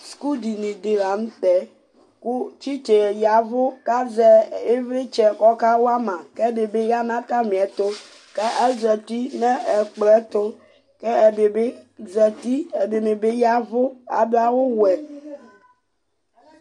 skudiɲiɗi lɑɲụtɛ kụ tsitsɑɛ yɑvụkɑzɛ ivlitsɛ kɔkɑwɑmɑ kɛɗibiyɑɲɑtɑmiɛtu kɑ ɑzạti ɲɛkploɛtu ɛɗibizɑti ɛdibiyɑvụ ɑɗụɑwu wụɛ ɛɗibizɑti ɛɗibiyɑvụ